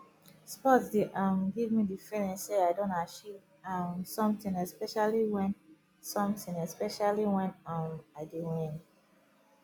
sport dey um give me the feeling sey i don achieve um something especially wen something especially wen um i dey win